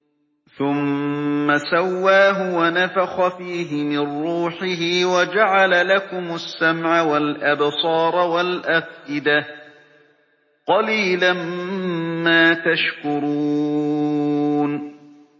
ثُمَّ سَوَّاهُ وَنَفَخَ فِيهِ مِن رُّوحِهِ ۖ وَجَعَلَ لَكُمُ السَّمْعَ وَالْأَبْصَارَ وَالْأَفْئِدَةَ ۚ قَلِيلًا مَّا تَشْكُرُونَ